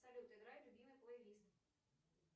салют играй любимый плейлист